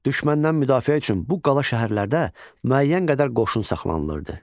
Düşməndən müdafiə üçün bu qala şəhərlərdə müəyyən qədər qoşun saxlanılırdı.